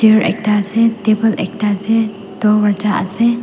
chair ekta ase table ekta ase durwaja ase.